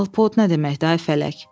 Alpod nə deməkdir ay fələk?